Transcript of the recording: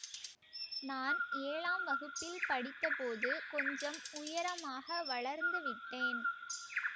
நான் ஏழாம் வகுப்பில் படித்தபோது கொஞ்சம் உயரமாக வளர்ந்து விட்டேன்